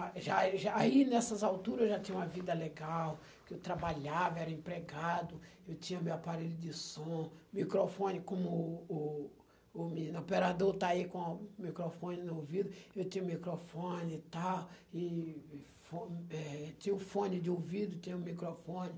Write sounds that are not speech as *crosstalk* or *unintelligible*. A, *unintelligible* aí nessas alturas, eu já tinha uma vida legal, porque eu trabalhava, era empregado, eu tinha meu aparelho de som, microfone, como o o o menino, operador está aí com o microfone no ouvido, eu tinha o microfone e tal, e e fo, eh, tinha o fone de ouvido, tinha o microfone.